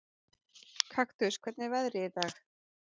Kaktus, hvernig er veðrið í dag?